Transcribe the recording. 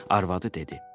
Arvadı dedi: